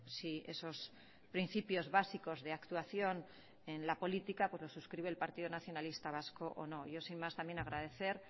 si esos principios básicos de actuación en la política lo suscribe el partido nacionalista vasco o no yo sin más también agradecer